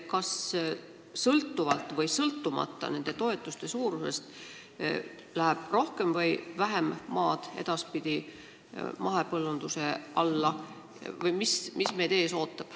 Kas sõltuvalt või sõltumata nende toetuste suurusest läheb edaspidi rohkem või vähem maad mahepõllunduse alla?